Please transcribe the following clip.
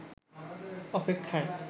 অপেক্ষায়